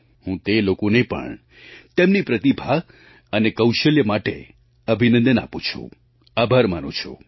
હું તે લોકોને પણ તેમની પ્રતિભા અને કૌશલ્ય માટે અભિનંદન આપું છું આભાર માનું છું